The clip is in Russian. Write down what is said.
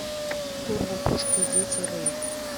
турбо пушка дети рэйв